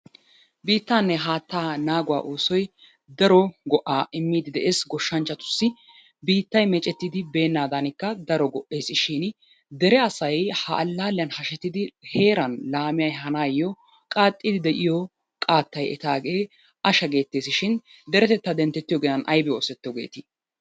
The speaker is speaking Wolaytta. Biitaanne hattaa naaguwa oosoy daro go'aa imiidi de'ees goshanchchatussi. Biittay meecettidi beenaadanikka daro go'eesishin dere asay ha alalliya hashettidi heeran laame ehaanayo qaaxiidi de'iyo qaattay etaagee ashsha geetees shin deretetta dentettiyo ginan aybbi oosetto geetii?